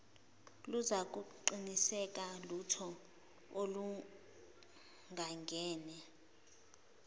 luzakuqinisekisa utho oluhlangene